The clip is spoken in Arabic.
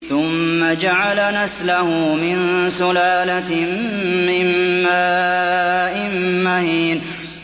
ثُمَّ جَعَلَ نَسْلَهُ مِن سُلَالَةٍ مِّن مَّاءٍ مَّهِينٍ